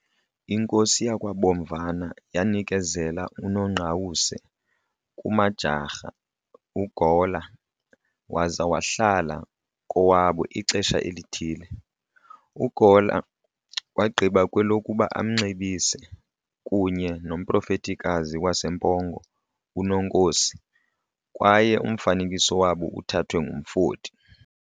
Inkosi yakwaBomvana yanikezela uNongqawuse kuMajjarha uGawler waza wahlala kowabo ixesha elithile. Gawler wagqiba kwelokuba amnxibise, kunye nomprofetikazi waseMpongo uNonkosi, kwaye umfanekiso wabo uthathwe ngumfoti.